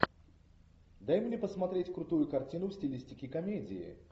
дай мне посмотреть крутую картину в стилистике комедии